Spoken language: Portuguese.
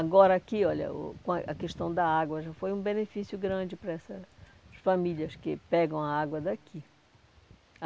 Agora aqui, olha o com a, a questão da água já foi um benefício grande para essas famílias que pegam a água daqui.